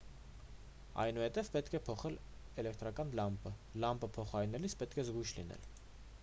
այնուհետև պետք է փոխել էլեկտրական լամպը լամպը փոխարինելիս պետք է զգույշ լինել